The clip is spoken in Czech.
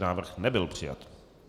Návrh nebyl přijat.